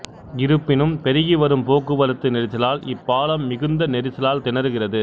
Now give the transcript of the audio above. இருப்பினும் பெருகிவரும் போக்குவரத்து நெரிசலால் இப்பாலம் மிகுந்த நெரிசலால் திணறுகிறது